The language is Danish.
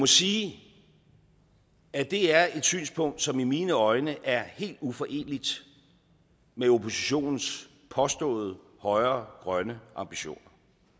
sige at det er et synspunkt som i mine øjne er helt uforeneligt med oppositionens påståede højere grønne ambitioner